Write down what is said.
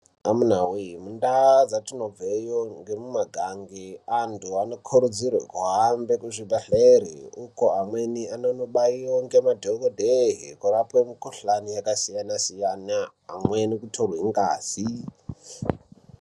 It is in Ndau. Amunawee! mundau dzatinobveyo ngemumagange antu vanokurudzirwa bahambe kuzvibhedleri uko amweni anonobayiwa ngemadhokodheyi kurapwe mikuhlani yakasiyana siyana. Amweni kutorwe ngazi.